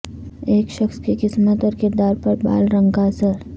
ایک شخص کی قسمت اور کردار پر بال رنگ کا اثر